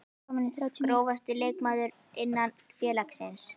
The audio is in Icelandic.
Grófasti leikmaður innan félagsins?